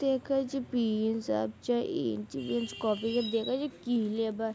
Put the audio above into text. देखे छी पिन सब छै इंची विंच कॉपी सब देखे छै की लेबे।